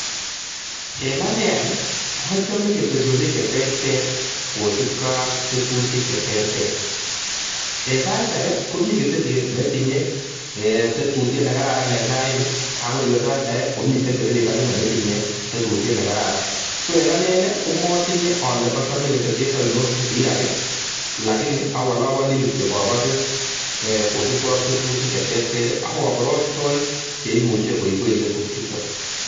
En ane any achome ketesosiek cheter Ter eng saishek kobun saishek kobun tetutik che Ter Ter ak kabarastoik chemuch koib en kaset